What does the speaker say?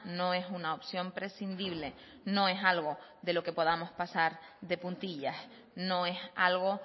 no es una opción prescindible no es algo de lo que podamos pasar de puntillas no es algo